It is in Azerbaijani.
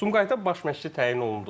Sumqayıta baş məşçi təyin olunduz.